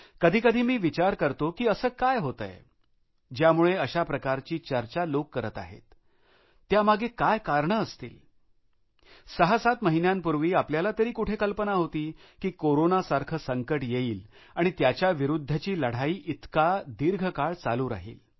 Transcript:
कधी कधी मी विचार करतो की असं काय होतंय होऊ शकतं ज्यामुळे अशा प्रकारची चर्चा लोक करत आहेत त्यामागे काय कारणं असतील सहासात महिन्यांपूर्वी आपल्याला तरी कुठे कल्पना होती की कोरोनासारखं संकट येईल आणि त्या विरुद्धची लढाई इतकी दीर्घकाळ चालू राहील